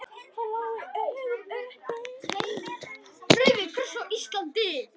Rauði kross Íslands